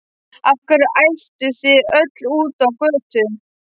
Af hverju ædduð þið öll út á götu?